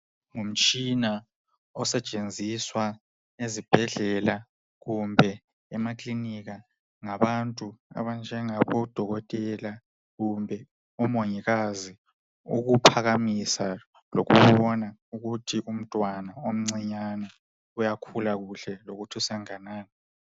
Ngumtshina osetshenziswa ezibhedlela kumbe emaclinika ngabantu abanjengabo dokotela kumbe omongikazi ukuphakamisa lokubona ukuthi umntwana omncinyane uyakhula kuhle lokuthi senganani